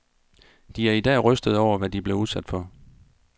De er i dag rystede over, hvad de blev udsat for.